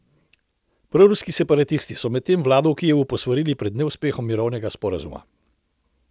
Proruski separatisti so medtem vlado v Kijevu posvarili pred neuspehom mirovnega sporazuma.